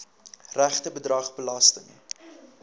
regte bedrag belasting